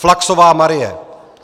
Flachsová Marie